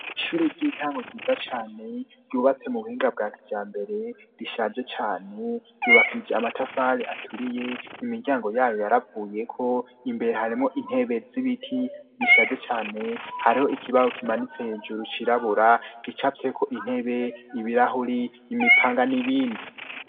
Ishure ry'intango ryiza cane ryubatse mu buhinga bwa kijambere rishaje cane ryubakije amatafari aturiye imiryango yayo yaravuyeko imbere hariyo intebe z'ibiti zishaje cane hariho ikibaho kimanitse hejuru cirabura gicafyeko intebe ibirahuri imipanga n'ibindi.